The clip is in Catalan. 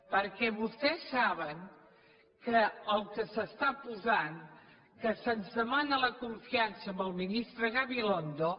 perquè vostès saben que el que s’està posant que se’ns demana la confiança amb el ministre gabilondo